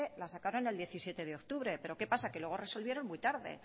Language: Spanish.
la sacaron el diecisiete de octubre pero qué pasa que luego resolvieron muy tarde